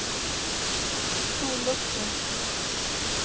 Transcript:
sollucka